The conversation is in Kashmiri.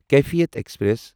کیفیت ایکسپریس